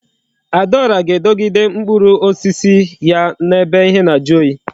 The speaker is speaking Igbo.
Adaora ga-edogide mkpụrụ osisi ya na ebe ihe na aju oyi